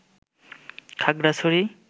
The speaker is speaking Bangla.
খাগড়াছড়ি